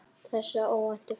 Þessa óvæntu för.